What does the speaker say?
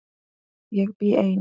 Ég bý ein.